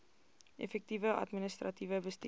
effektiewe administratiewe bestuur